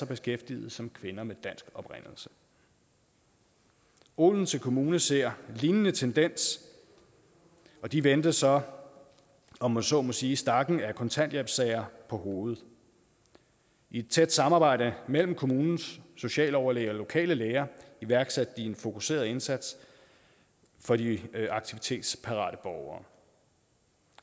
beskæftigede som kvinder med dansk oprindelse odense kommune ser en lignende tendens og de vendte så om man så må sige stakken af kontanthjælpssager på hovedet i et tæt samarbejde mellem kommunens socialoverlæge og lokale læger iværksatte de en fokuseret indsats for de aktivitetsparate borgere